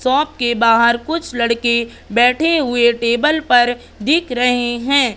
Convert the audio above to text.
Shop के बाहर कुछ लड़के बैठे हुए टेबल पर दिख रहे हैं।